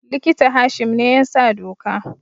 Likita Hashim ne ya sa doka